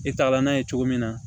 E tagala n'a ye cogo min na